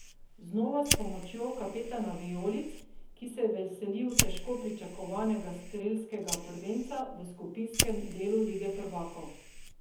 Znova s pomočjo kapetana vijolic, ki se je veselil težko pričakovanega strelskega prvenca v skupinskem delu lige prvakov.